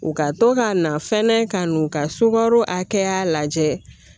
U ka to ka na fɛnɛ ka n'u ka sukaro hakɛya lajɛ